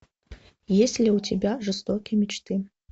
есть ли у тебя жестокие мечты